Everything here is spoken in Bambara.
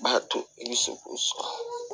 B'a to i bɛ se k'o sɔrɔ